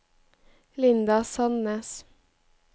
Linda Sandnes